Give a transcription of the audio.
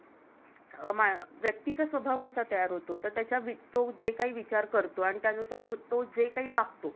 अं व्यक्तीच्या स्वभाव कसा तयार होतो तर त्याचा तो जे काही विचार करतो आणि तो जे काही वागतो,